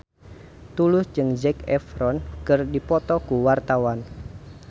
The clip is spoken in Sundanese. Tulus jeung Zac Efron keur dipoto ku wartawan